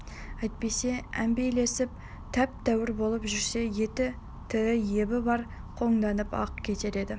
әйтпесе әмпейлесіп тәп-тәуір болып жүрсе еті тірі ебі бар қоңданып-ақ кетер еді